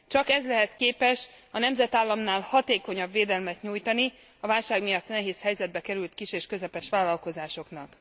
Csak ez lehet képes a nemzetállamnál hatékonyabb védelmet nyújtani a válság miatt nehéz helyzetbe került kis és közepes vállalkozásoknak.